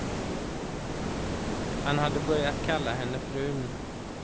Han hade börjat kalla henne frun.